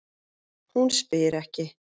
Hún spyr ekki.